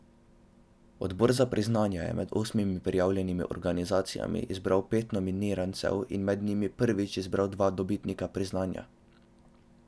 Odbor za priznanja je med osmimi prijavljenimi organizacijami izbral pet nominirancev in med njimi prvič izbral dva dobitnika priznanja.